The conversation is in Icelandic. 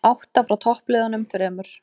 Átta frá toppliðunum þremur